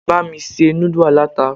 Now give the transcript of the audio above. Bá mi se núdù aláta.